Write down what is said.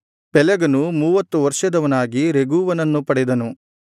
ಪೆಲೆಗನು ಮೂವತ್ತು ವರ್ಷದವನಾಗಿ ರೆಗೂವನನ್ನು ಪಡೆದನು